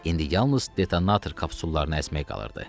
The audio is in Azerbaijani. İndi yalnız detanator kapsullarını əzmək qalırdı.